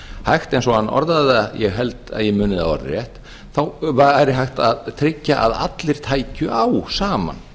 hægt eins og hann orðaði það ég held að ég muni það orðrétt þá væri hægt að tryggja að allir tækju á saman